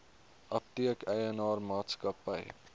apteek eienaar maatskappy